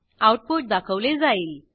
output दाखवले जाईल